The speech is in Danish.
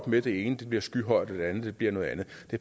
med at det ene bliver skyhøjt andet bliver noget andet